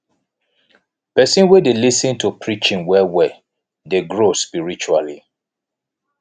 pesin wey dey lis ten to preaching well well dey grow spiritually